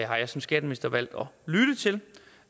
jeg som skatteminister valgt